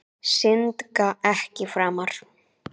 Syndga ekki framar.